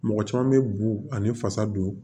Mɔgɔ caman bɛ bu ani fasa don